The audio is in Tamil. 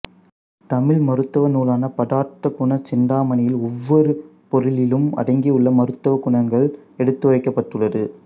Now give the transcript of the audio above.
தமிழ் மருத்துவ நூலான பதார்த்த குண சிந்தாமணியில் ஒவ்வொரு பொருளிலும் அடங்கியுள்ள மருத்துவக் குணங்கள் எடுத்துரைக்கப்பட்டுள்ளது